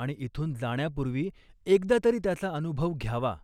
आणि इथून जाण्यापूर्वी एकदातरी त्याचा अनुभव घ्यावा.